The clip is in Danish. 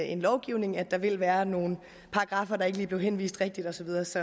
en lovgivning at der vil være nogle paragraffer hvor der ikke lige blev henvist rigtigt og så videre så